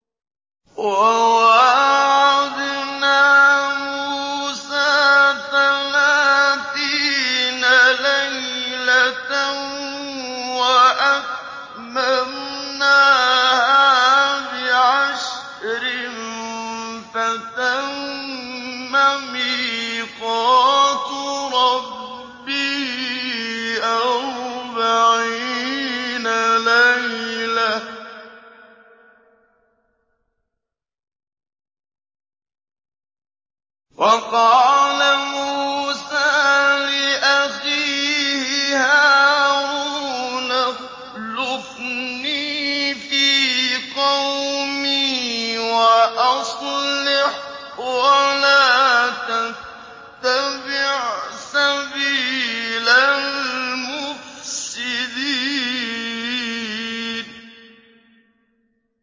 ۞ وَوَاعَدْنَا مُوسَىٰ ثَلَاثِينَ لَيْلَةً وَأَتْمَمْنَاهَا بِعَشْرٍ فَتَمَّ مِيقَاتُ رَبِّهِ أَرْبَعِينَ لَيْلَةً ۚ وَقَالَ مُوسَىٰ لِأَخِيهِ هَارُونَ اخْلُفْنِي فِي قَوْمِي وَأَصْلِحْ وَلَا تَتَّبِعْ سَبِيلَ الْمُفْسِدِينَ